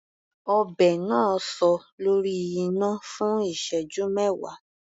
Ọbẹ̀ náà sọ lórí iná fún ìṣẹ́jú mẹwa.